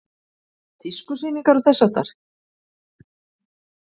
Tískusýningar og þess háttar?